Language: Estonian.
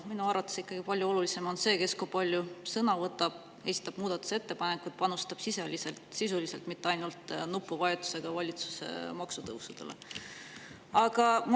Minu arvates on palju olulisem see, kes kui palju sõna võtab, muudatusettepanekuid esitab ja panustab sisuliselt, mitte ainult nupuvajutusega valitsuse maksutõusude puhul.